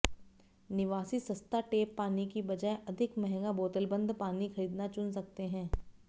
निवासी सस्ता टैप पानी की बजाय अधिक महंगा बोतलबंद पानी खरीदना चुन सकते हैं